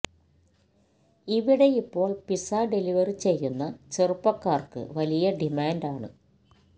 ഇവിടെയിപ്പോൾ pizza delivery ചെയ്യുന്ന ചെറുപ്പക്കാർക്ക് വലിയ ഡിമാൻഡ് ആണ്